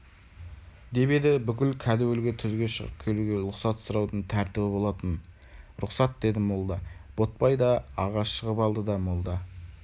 деп еді бұл кәдуілгі түзге шығып келуге лұқсат сұраудың тәртібі болатын рұхсат деді молда ботбай да аға шығып алды да молда